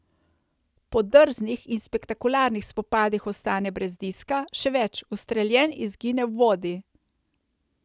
Po drznih in spektakularnih spopadih ostane brez diska, še več, ustreljen izgine v vodi.